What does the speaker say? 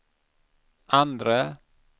andre